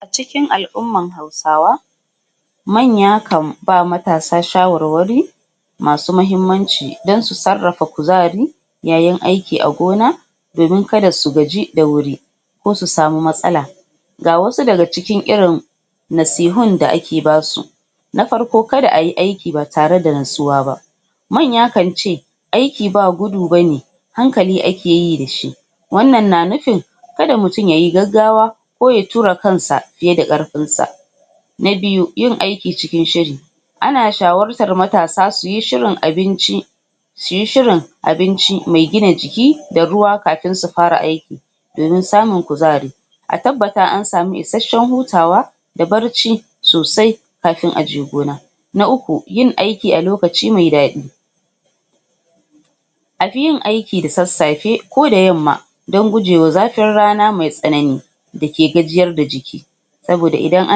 Cikin al'umman hausawa manya kan ba matasa shawarwari masu muhimmanci dan su sarrafa kuzari yayin aiki a gona domin kada s gaji da wuri ko su sama matsala ga wasu daga cikin irin nasihun da ake basu na farko, kada a yi aiki ba tareda nutsuwa ba manya kance aiki ba gudu bane hankali akeyi dashi wannan na nufin kada mutum yay gaggawa koya tura kansa fiye da karfinsa na biyu yin aiki cikin shiri anan shawartar mutane shuyi shirin abinci suyi shirin abinci mai gin a jiki da ruwa kafin su fara aikii domin samun kuzari a tabbata an samu isashen hutawa da barci sosai kafin aje gona na uku, yin aiki a lokaci mai daɗi a fi yin aiki da sassafe koda yamma dan goje ma zafin rana mai tsanani dake gajiyar da jiki saboda idan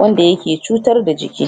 wanda ake cutar da jiki